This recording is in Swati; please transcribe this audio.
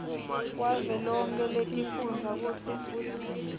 wavelonkhe wetifundza kutsi